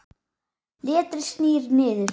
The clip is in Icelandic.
Letrið snýr niður.